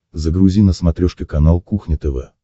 загрузи на смотрешке канал кухня тв